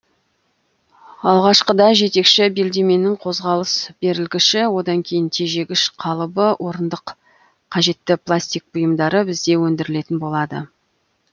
алғашқыда жетекші белдемнің қозғалыс берілгіші одан кейін тежегіш қалыбы орындық қажетті пластик бұйымдары бізде өндірілетін болады